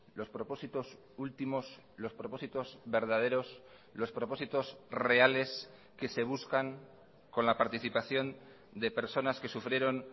los propósitos últimos los propósitos verdaderos los propósitos reales que se buscan con la participación de personas que sufrieron